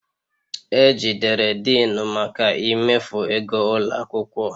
E jidere Denu maka imefu ego ụlọ akwụkwọ